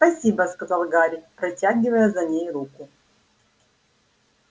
спасибо сказал гарри протягивая за ней руку